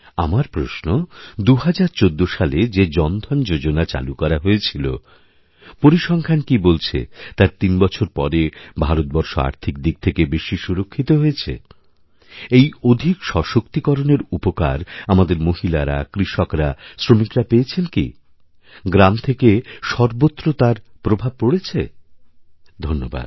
আমার প্রশ্ন ২০১৪ সালে যে জন ধন যোজনা চালু করা হয়েছিল পরিসংখ্যান কিবলছে তার তিনবছর পরে ভারতবর্ষ আর্থিক দিক থেকে বেশি সুরক্ষিত হয়েছে এই অধিক সশক্তিকরণেরউপকার আমাদের মহিলারা কৃষকরা শ্রমিকরা পেয়েছেন কি গ্রাম থেকে সর্বত্র তারপ্রভাব পড়েছে ধন্যবাদ